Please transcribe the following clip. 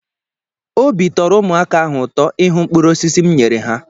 Obi tọrọ ụmụaka ahụ ụtọ ịhụ mkpụrụ osisi m nyere ha.